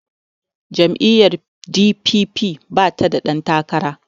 jam'iyyar d.p.p bata da ɗantakara